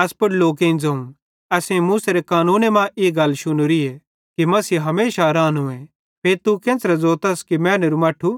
एस पुड़ लोकेईं ज़ोवं असेईं पवित्रशास्त्रे मां ई गल शुनोरीए कि मसीह हमेशा रानोए फिरी तू केन्च़रे ज़ोतस कि मैनेरू मट्ठू